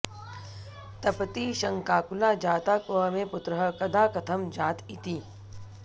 तपती शङ्काकुला जाता क्व मे पुत्रः कदा कथं जात इति